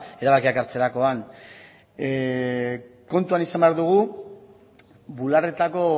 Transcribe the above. erabakiak hartzerakoan kontuan izan behar dugu bularretako